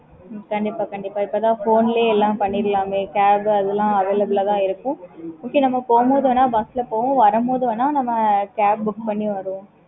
okay mam